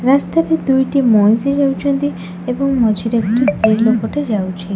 ରାସ୍ତାରେ ଦୁଇଟି ମଁଇଷି ଯାଉଛନ୍ତି ଏବଂ ମଝିରେ ଗୋଟେ ସ୍ତ୍ରୀ ଲୋକଟେ ଯାଉଛି।